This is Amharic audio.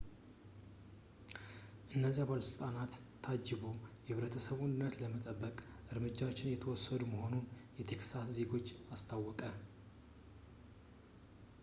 በነዚያ ባለሥልጣናት ታጅቦ የህብረተሰቡን ደህንነት ለመጠበቅ እርምጃዎች እየተወሰዱ መሆኑን ለቴክሳስ ዜጎች አስታወቀ